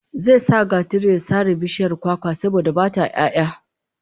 Zai sa gatari ya sare bishiyar kwakwar, saboda ba ta 'ya'ya